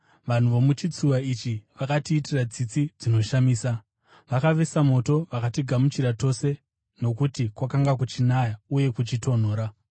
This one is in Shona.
Vanhu vomuchitsuwa ichi vakatiitira tsitsi dzinoshamisa. Vakavesa moto vakatigamuchira tose nokuti kwakanga kuchinaya uye kuchitonhora.